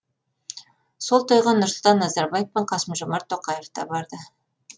сол тойға нұрсұлтан назарбаев пен қасым жомарт тоқаев та барды